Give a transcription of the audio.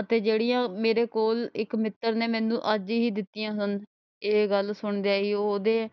ਅਤੇ ਜਿਹੜੀਆਂ ਮੇਰੇ ਕੋਲ ਇੱਕ ਮਿੱਤਰ ਨੇ ਮੈਨੂੰ ਅੱਜ ਹੀ ਦਿੱਤੀਆਂ ਹਨ। ਇਹ ਗੱਲ ਸੁਣਦਿਆਂ ਹੀ ਉਹਦੇ